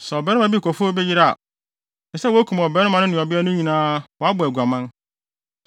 “ ‘Sɛ ɔbarima bi kɔfa obi yere a, ɛsɛ sɛ wokum ɔbarima no ne ɔbea no nyinaa wɔabɔ aguaman.